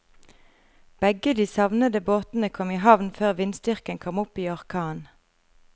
Begge de savnede båtene kom i havn før vindstyrken kom opp i orkan.